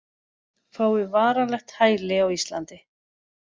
Fái varanlegt hæli á Íslandi